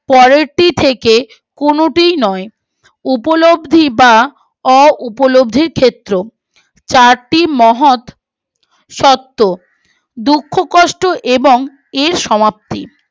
পরেরটি থেকে কোনটিও নয় উপলব্দি বা অ উপলব্ধির ক্ষেত্র চারটি মহৎ শর্ত দুঃখ কষ্ট এবং এর সমাপ্তি